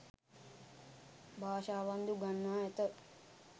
භාෂාවන් ද උගන්වා ඇත.